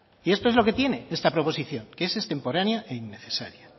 y esto es lo que tiene esta proposición que es extemporánea e innecesaria